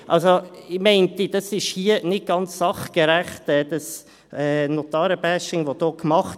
Ich denke, das Notaren-Bashing, das hier gemacht wird, ist hier nicht ganz sachgerecht.